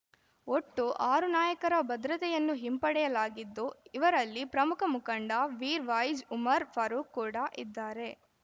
ಒಟ್ಟು ಆರು ನಾಯಕರ ಭದ್ರತೆಯನ್ನು ಹಿಂಪಡೆಯಲಾಗಿದ್ದು ಇವರಲ್ಲಿ ಪ್ರಮುಖ ಮುಖಂಡ ಮೀರ್‌ವಾಯಿಜ್‌ ಉಮರ್‌ ಫಾರೂಖ್‌ ಕೂಡ ಇದ್ದಾರೆ